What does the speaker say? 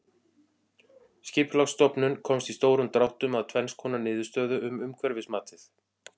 Skipulagsstofnun komst í stórum dráttum að tvenns konar niðurstöðu um umhverfismatið.